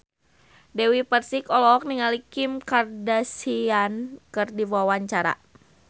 Dewi Persik olohok ningali Kim Kardashian keur diwawancara